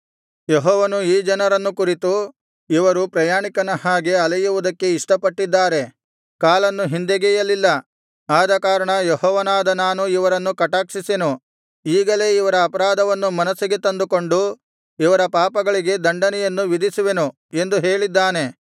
ಯೆಹೋವನು ಈ ಜನರನ್ನು ಕುರಿತು ಇವರು ಪ್ರಯಾಣಿಕನ ಹಾಗೆ ಅಲೆಯುವುದಕ್ಕೆ ಇಷ್ಟಪಟ್ಟಿದ್ದಾರೆ ಕಾಲನ್ನು ಹಿಂದೆಗೆಯಲಿಲ್ಲ ಆದಕಾರಣ ಯೆಹೋವನಾದ ನಾನು ಇವರನ್ನು ಕಟಾಕ್ಷಿಸೆನು ಈಗಲೇ ಇವರ ಅಪರಾಧವನ್ನು ಮನಸ್ಸಿಗೆ ತಂದುಕೊಂಡು ಇವರ ಪಾಪಗಳಿಗೆ ದಂಡನೆಯನ್ನು ವಿಧಿಸುವೆನು ಎಂದು ಹೇಳಿದ್ದಾನೆ